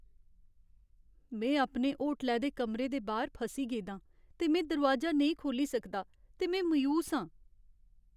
में अपने होटलै दे कमरे दे बाह्‌र फसी गेदा आं ते में दरोआजा नेईं खोह्ल्ली सकदा ते में मायूस आं।